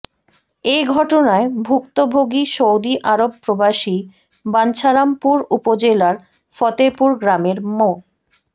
এ ঘটনায় ভুক্তভোগী Saudi Arab প্রবাসী বাঞ্ছারামপুর উপজেলার ফতেপুর গ্রামের মো